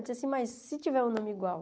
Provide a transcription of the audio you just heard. Eu disse assim, mas se tiver um nome igual.